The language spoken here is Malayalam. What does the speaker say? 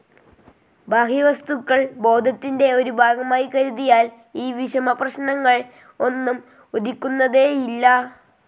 ബാഹ്യവസ്തുക്കൾ ബോധത്തിന്റെ ഒരു ഭാഗമായി കരുതിയാൽ ഈ വിഷമപ്രശ്നങ്ങൾ ഒന്നും ഉദിക്കുന്നതേയില്ല.